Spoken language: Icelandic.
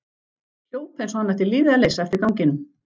Hljóp eins og hann ætti lífið að leysa eftir ganginum.